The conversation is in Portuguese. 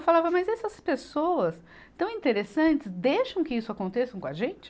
Eu falava, mas essas pessoas tão interessantes, deixam que isso aconteçam com a gente?